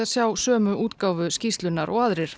sjá sömu útgáfu skýrslunnar og aðrir